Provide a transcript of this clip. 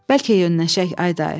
Bəlkə yönnəşək ay dayı.